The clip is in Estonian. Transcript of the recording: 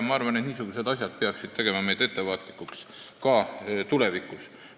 Ma arvan, et niisugused asjad peaksid tegema meid ettevaatlikuks ka tulevikus.